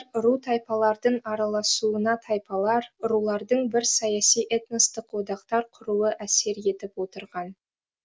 ру тайпалардың араласуына тайпалар рулардың бір саяси этностық одақтар құруы әсер етіп отырған